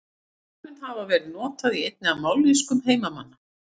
Þar mun það hafa verið notað í einni af mállýskum heimamanna.